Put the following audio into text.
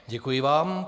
Děkuji vám.